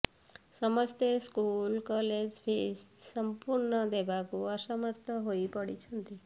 ସମସ୍ତେ school college fees ସଂପୂର୍ଣ୍ଣ ଦେବାକୁ ଅସମର୍ଥ ହୋଇ ପଡିଛନ୍ତି